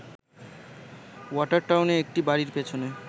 ওয়াটারটাউনে একটি বাড়ীর পেছনে